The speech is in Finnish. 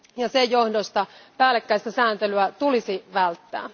Sen johdosta päällekkäistä säätelyä tulisi välttää.